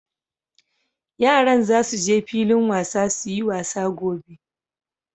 Yaran za su je filin wasa su yi wasa gobe.